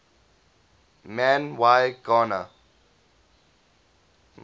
man y gana